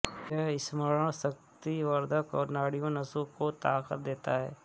यह स्मरण शक्तिवर्द्धक और नाड़ियों नसों को ताकत देता है